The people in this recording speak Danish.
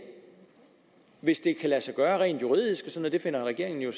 hvis det kan lade sig gøre rent juridisk det finder regeringen jo